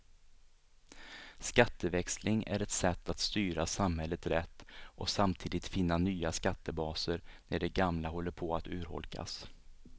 Skatteväxling är ett sätt att styra samhället rätt och samtidigt finna nya skattebaser när de gamla håller på att urholkas.